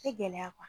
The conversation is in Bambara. Tɛ gɛlɛya